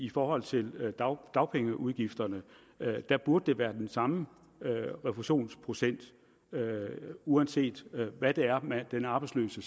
i forhold til dagpengeudgifterne burde der være den samme refusionsprocent uanset hvad den arbejdsløse